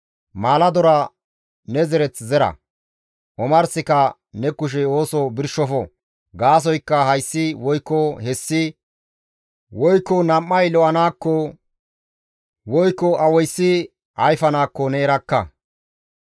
Maaladora ne zereth zera; omarsika ne kushey ooso birshofo; gaasoykka hayssi woykko hessi, woykko nam7ay lo7anaakko, woykko awayssi ayfanaakko ne erakka.